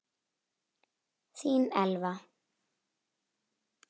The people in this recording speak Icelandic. Þín Elfa.